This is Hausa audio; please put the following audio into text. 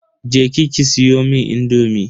Je ki ki siyomun indomi.